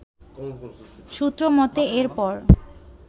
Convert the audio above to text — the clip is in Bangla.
সূত্র মতে এরপর